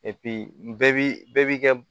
bɛɛ bi bɛɛ bi kɛ